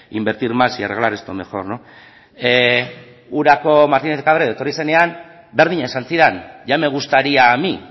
invertir más y arreglar esto mejor urako martínez de cabredo etorri zenean berdina esan zidan ya me gustaría a mí